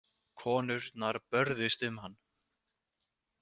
Konurnar börðust um hann.